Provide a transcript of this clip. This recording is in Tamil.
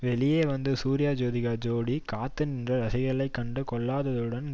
வெளியே வந்த சூர்யாஜோதிகா ஜோடி காத்து நின்ற ரசிகர்களை கண்டு கொள்ளாததுடன்